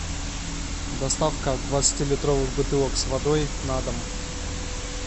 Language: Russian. доставка двадцати литровых бутылок с водой на дом